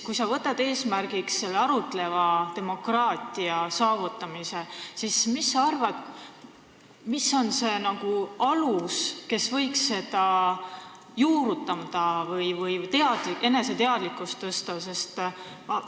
Kui sa võtad eesmärgiks arutleva demokraatia saavutamise, siis mis sa arvad, kus on see alus, kus võiks seda juurutada või eneseteadlikkust tõsta?